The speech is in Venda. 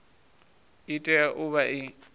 i tea u vha i